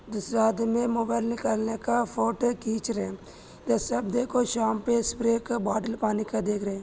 दूसरा आदि मोबाइल निकालने का फोटो खिच रहे ये सब देखो शाम पे स्प्रे बोतल पानी का देख रहे--